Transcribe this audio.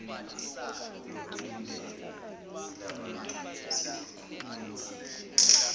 lokulindelwe yilabantu selikhuphukile